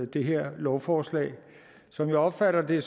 det her lovforslag som jeg opfatter det